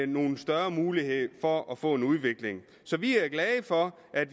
nogle større muligheder for at få en udvikling så vi er glade for at